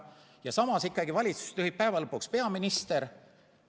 Ja samas ikkagi valitsust juhib peaminister.